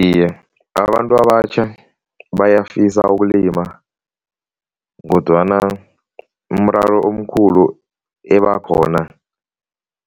Iye, abantu abatjha bayafisa ukulima kodwana umraro omkhulu ebakhona